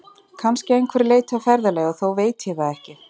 Kannski að einhverju leyti á ferðalagi, og þó veit ég það ekki.